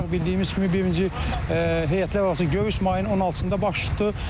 Bildiyimiz kimi, birinci heyətlər arası görüş mayın 16-da baş tutdu.